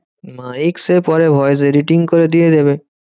Mike সে পরে voice editing করে দিয়ে দেবে।